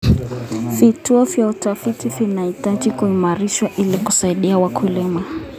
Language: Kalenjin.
Vituo vya utafiti vinahitaji kuimarishwa ili kusaidia wakulima.